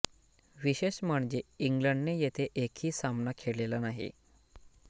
विशेष म्हणजे इंग्लंडने येथे एकही सामना खेळलेला नाही